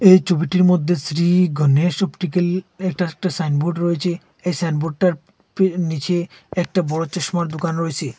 এই চবিটির মধ্যে শ্রী গনেশ অপটিক্যাল এইটার একটা সাইন বোর্ড রয়েছে এই সাইনবোর্ডটার ফ নীচে একটা বড়ো চশমার দুকান রয়েছে।